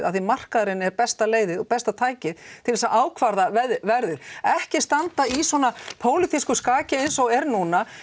því markaðurinn er besta leiðin og besta tækið til að ákvarða verðið ekki standa í svona skaki eins og er núna